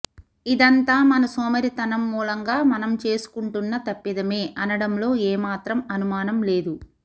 ఇదంతా మన సోమరితనం మూలంగా మనం చేసుకుంటున్న తప్పిదమే అనడంలో ఏమాత్రం అనుమానం లేదు